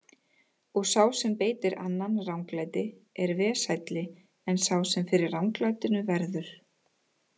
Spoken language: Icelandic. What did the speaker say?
Og sá sem beitir annan ranglæti er vesælli en sá sem fyrir ranglætinu verður.